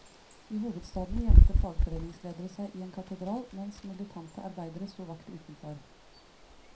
I hovedstaden gjemte fagforeningsledere seg i en katedral, mens militante arbeidere sto vakt utenfor.